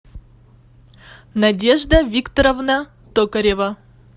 надежда викторовна токарева